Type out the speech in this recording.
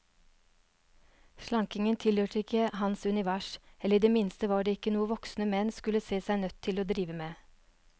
Slankingen tilhørte ikke hans univers, eller i det minste var det ikke noe voksne menn skulle se seg nødt til å drive med.